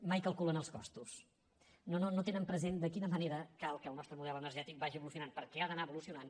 mai calculen els costos no tenen present de quina manera cal que el nostre model energètic vagi evolucionant perquè ha d’anar evolucionant